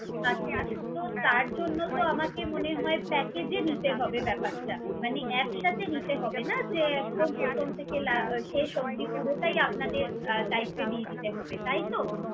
আচ্ছা! তো তার জন্যে তো আমাকে মনে হয় package এ নিতে হবে ব্যাপারটা মানে একসাথে নিতে হবে না যে একদম প্রথম থেকে লা~ শেষ অবধি পুরোটাই আহ আপনাদের দায়িত্বে দিয়ে দিতে হবে তাইতো?